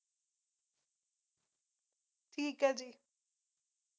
ਠੀਕ ਹੈ ਜੀ